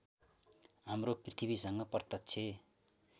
हाम्रो पृथ्वीसँग प्रत्यक्ष